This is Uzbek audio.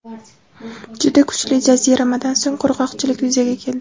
Juda kuchli jaziramadan so‘ng qurg‘oqchilik yuzaga keldi.